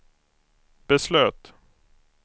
beslöt